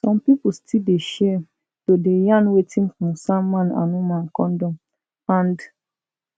some pipo still dey shame to dey yarn wetin concern man and woman condom and